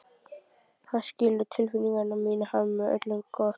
Hann skilur tilfinningar mínar, hann vill öllum gott.